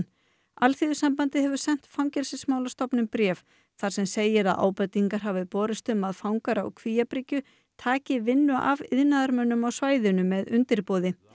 Alþýðusambandið hefur sent Fangelsismálastofnun bréf þar sem segir að ábendingar hafi borist um að fangar á Kvíabryggju taki vinnu af iðnaðarmönnum á svæðinu með undirboði